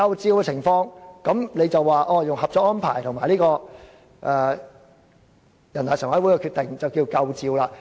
在這情況下，若引用《合作安排》和人大常委會的決定，便夠分量了。